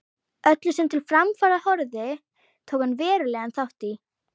Öllu, sem til framfara horfði, tók hann verulegan þátt í.